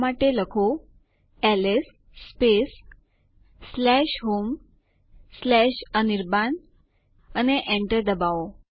આદેશ લખો sudo space adduser space duck અને Enter કી દબાવો